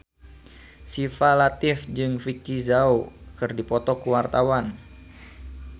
Syifa Latief jeung Vicki Zao keur dipoto ku wartawan